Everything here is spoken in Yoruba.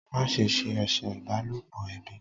Ma se ṣe eṣe ìbálòpọ̀ ẹbí!